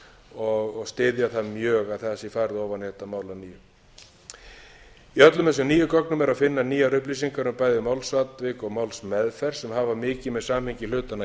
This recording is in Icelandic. og styðja það mjög að það sé farið ofan í þetta mál að nýju í öllum þessum nýju gögnum er að finna nýjar upplýsingar um bæði málsatvik og málsmeðferð sem hafa mikið með samhengi hlutanna að